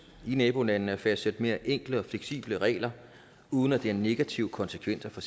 i nabolandene at fastsætte mere enkle og fleksible regler uden at det har negative konsekvenser for